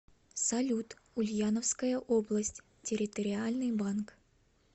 салют ульяновская область территориальный банк